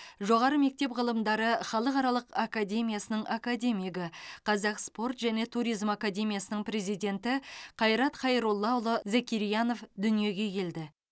жоғары мектеп ғылымдары халықаралық академиясының академигі қазақ спорт және туризм академиясының президенті қайрат хайроллаұлы закирьянов дүниеге келді